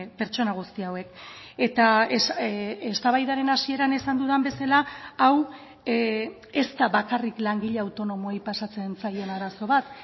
pertsona guzti hauek eta eztabaidaren hasieran esan dudan bezala hau ez da bakarrik langile autonomoei pasatzen zaien arazo bat